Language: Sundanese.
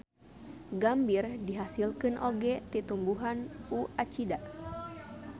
Gambir dihasilkeun oge ti tumbuhan U. acida.